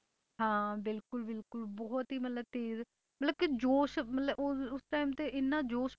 ਹਾਂ ਬਿਲਕੁਲ ਬਿਲਕੁਲ ਬਹੁਤ ਹੀ ਮਤਲਬ ਤੇਜ਼ ਮਤਲਬ ਕਿ ਜੋਸ਼ ਮਤਲਬ ਉਹ ਉਸ time ਤੇ ਇੰਨਾ ਜੋਸ਼